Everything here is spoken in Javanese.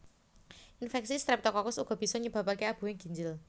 Infeksi Streptokokus uga bisa nyebabake abuhing ginjel